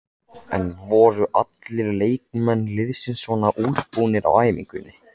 En voru allir leikmenn liðsins svona útbúnir á æfingunni?